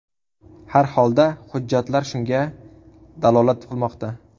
Har holda hujjatlar shunga dalolat qilmoqda.